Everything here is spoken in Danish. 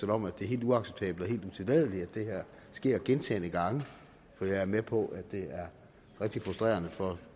om at det er helt uacceptabelt og helt utilladeligt at det her sker gentagne gange for jeg er med på at det er rigtig frustrerende for